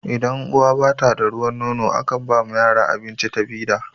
idan uwa bata da ruwan nono a kan ba yara abinci da fida